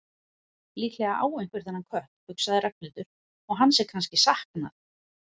Líklega á einhver þennan kött, hugsaði Ragnhildur, og hans er kannski saknað.